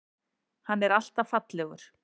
Hann er alltaf fallegur.